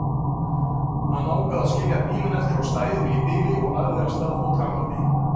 Hann ákvað að skilja bílinn eftir á stæðinu í bili og lagði af stað fótgangandi.